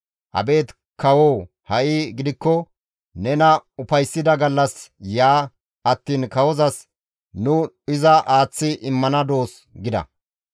Abeet kawo ha7i gidikko nena ufayssida gallas ya attiin kawozas nu iza aaththi immana doos» gida.